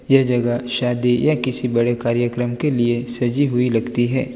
यह जगह शादी या किसी बड़े कार्यक्रम के लिए सजी हुई लगती हैं।